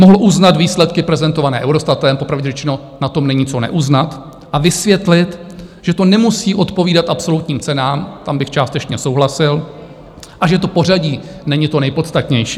Mohl uznat výsledky prezentované Eurostatem - popravdě řečeno na tom není co neuznat - a vysvětlit, že to nemusí odpovídat absolutním cenám, tam bych částečně souhlasil, a že to pořadí není to nejpodstatnější.